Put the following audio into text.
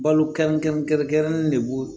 Balo kɛrɛnkɛrɛn kɛrɛnkɛrɛnnen de b'o